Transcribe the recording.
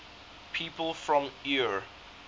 people from eure